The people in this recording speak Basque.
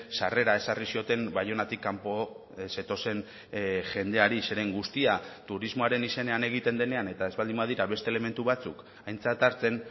sarrera ezarri zioten baionatik kanpo zetozen jendeari zeren guztia turismoaren izenean egiten denean eta ez baldin badira beste elementu batzuk aintzat hartzen